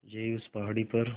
यहीं उस पहाड़ी पर